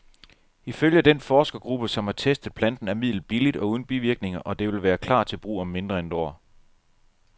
Ifølge den forskergruppe, som har testet planten, er midlet billigt og uden bivirkninger, og det vil klar til brug om mindre end et år.